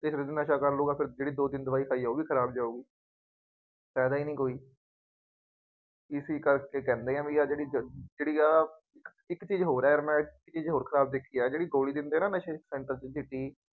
ਫੇਰ ਨਸ਼ਾ ਕਰ ਲਊਗਾ, ਫੇਰ ਜਿਹੜੀ ਦੋ ਦਿਨ ਦਵਾਈ ਖਾਈ ਆ ਉਹ ਵੀ ਖਰਾਬ ਜਾਊਗੀ. ਫਾਇਦਾ ਨਹੀਂ ਕੋਈ. ਇਸੀ ਕਰਕੇ ਕਹਿੰਦੇ ਹਾਂ ਬਈ ਆਹ ਜਿਹੜੀ ਜ ਜਿਹੜੀ ਆਹ ਇੱਕ ਚੀਜ਼ ਹੋਰ ਹੈ, ਇੱਕ ਚੀਜ਼ ਹੋਰ ਖਰਾਬ ਦੇਖੀ ਹੈ ਜਿਹੜੀ